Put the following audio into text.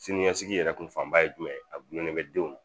Siniɲɛsigi yɛrɛ kun fanba ye jumɛn ye a gulen bɛ denw na